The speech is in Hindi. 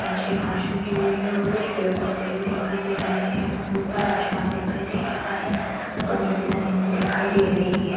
नीचे कुछ घास उगी हुई है और कुछ पेड़-पौधे भी दिखाई दे रहे हैं और ऊपर आसमान दिखाई दे रहा है और ऊपर जमीन भी दिखाई दे रही है।